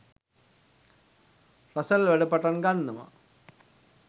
Russell වැඩ පටන් ගන්නවා.